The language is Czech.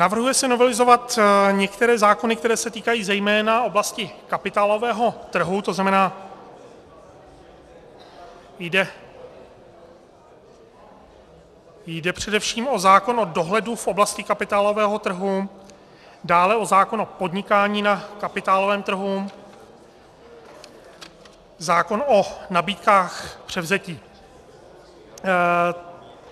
Navrhuje se novelizovat některé zákony, které se týkají zejména oblasti kapitálového trhu, to znamená, že jde především o zákon o dohledu v oblasti kapitálového trhu, dále o zákon o podnikání na kapitálovém trhu, zákon o nabídkách převzetí.